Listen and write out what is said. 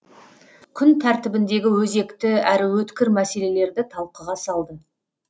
күн тәртібіндегі өзекті әрі өткір мәселелерді талқыға салды